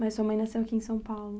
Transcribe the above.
Mas sua mãe nasceu aqui em São Paulo.